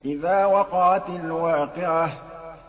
إِذَا وَقَعَتِ الْوَاقِعَةُ